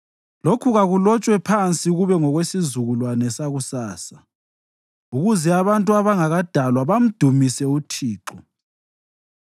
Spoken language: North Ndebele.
Lokhu kakulotshwe phansi kube ngokwesizukulwane sakusasa, ukuze abantu abangakadalwa bamdumise uThixo :